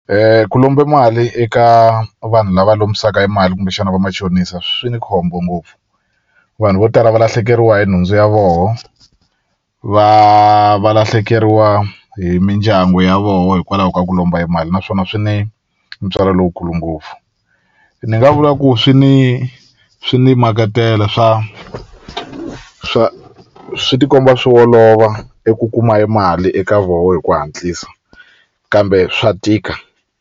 ku lomba mali eka vanhu lava lombisaka e mali kumbexana va machonisa swi ni khombo ngopfu vanhu vo tala va lahlekeriwa hi nhundzu ya voho va va lahlekeriwa hi mindyangu ya voho hikwalaho ka ku lomba e mali naswona swi ne ntswalo lowukulu ngopfu ni nga vula ku swi ni swi ni makatela swa swa swi tikomba swi olova eku kuma e mali eka voho hi ku hatlisa kambe swa tika.